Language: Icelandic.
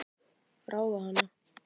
Ráða hana?